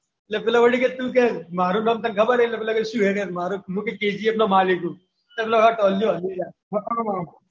પેલો કે વળી કે મારું નામ તને ખબર છે મુ કે KGF નો માલિક છું પેલો ટોલીયો હલી જાય.